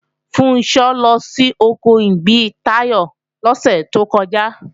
Funṣọ́ lọ sí oko ìgbín Táyọ̀ lọ́sẹ̀ tó kọjá